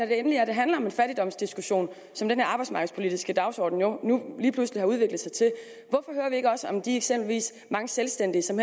det endelig handler om en fattigdomsdiskussion som den her arbejdsmarkedspolitiske dagsorden nu lige pludselig har udviklet sig til om de eksempelvis mange selvstændige som